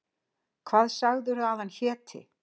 Hvað sagðirðu að hann héti?